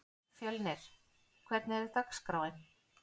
Fjölnir, hvernig er dagskráin?